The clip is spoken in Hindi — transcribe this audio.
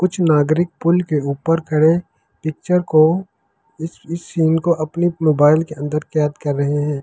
कुछ नागरिक पुल के ऊपर खड़े पिक्चर को इस इस सीन को अपनी मोबाइल के अंदर कैद कर रहे हैं और कुछ --